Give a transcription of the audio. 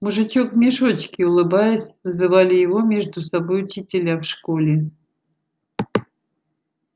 мужичок в мешочке улыбаясь называли его между собой учителя в школе